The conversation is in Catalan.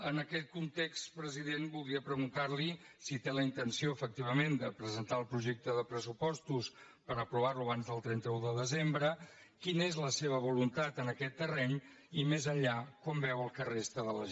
en aquest context president voldria preguntarli si té la intenció efectivament de presentar el projecte de pressupostos per aprovarlo abans del trenta un de desembre quina és la seva voluntat en aquest terreny i més enllà com veu el que resta de legislatura